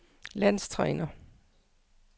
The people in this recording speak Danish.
landstræner